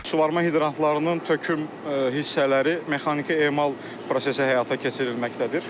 Suvarma hidrantlarının töküm hissələri mexaniki emal prosesi həyata keçirməkdədir.